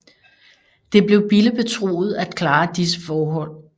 Det blev Bille betroet at klare disse forhold